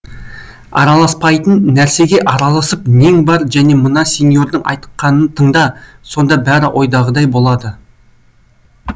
араласпайтын нәрсеге араласып нең бар және мына сеньордың айтқанын тыңда сонда бәрі ойдағыдай болады